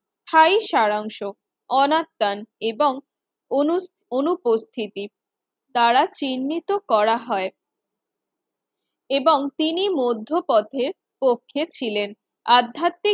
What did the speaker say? High সারাংশ, অনাত্রাণ এবং অনুঅনুপস্থিতি তারা চিহ্নিত করা হয় এবং তিনি মধ্যপথের পক্ষে ছিলেন। আধ্যাত্মিক